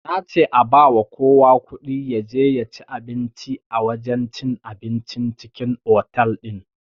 Nace a bawa kowa kuɗi yaje yaci abinci a wajen cin abincin cikin otal din